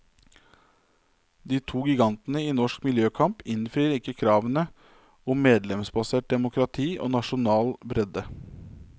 De to gigantene i norsk miljøkamp innfrir ikke kravene, om medlemsbasert demokrati og nasjonal bredde.